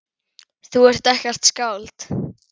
Þú ert ekkert skáld.